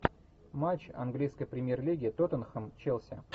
матч английской премьер лиги тоттенхэм челси